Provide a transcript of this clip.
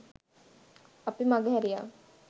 අපි මගහැරියා.